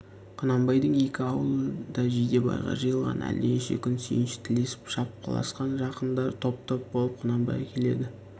құнанбайдың екі аулы да жидебайға жиылған әлденеше күн сүйінші тілесіп шапқыласқан жақындар топ-топ болып құнанбайға келеді